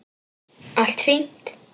Allt fínt!